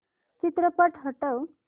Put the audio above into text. चित्रपट हटव